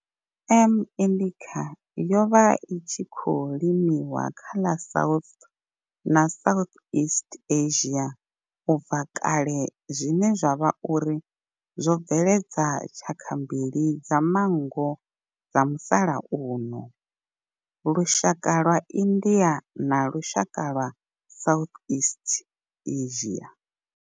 M. indica yo vha i tshi khou limiwa kha ḽa South na Southeast Asia ubva kale zwine zwa vha uri zwo bveledza tshaka mbili dza manngo dza musalauno lushaka lwa India na lushaka lwa Southeast Asia.